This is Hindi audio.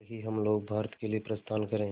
कल ही हम लोग भारत के लिए प्रस्थान करें